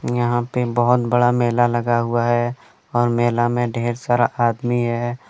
यहां पे बहोत बड़ा मेला लगा हुआ है और मेला में ढेर सारा आदमी है ।